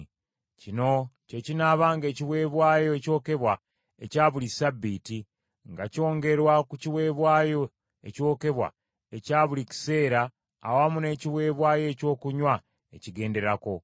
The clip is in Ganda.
Kino kye kinaabanga ekiweebwayo ekyokebwa ekya buli Ssabbiiti, nga kyongerwa ku kiweebwayo ekyokebwa ekya buli kiseera awamu n’ekiweebwayo ekyokunywa ekigenderako.